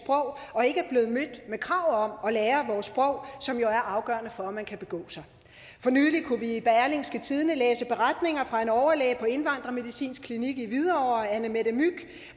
og ikke er blevet mødt med krav om at lære vores sprog som jo er afgørende for at man kan begå sig for nylig kunne vi i berlingske tidende læse beretninger fra en overlæge på indvandrermedicinsk klinik i hvidovre annemette mygh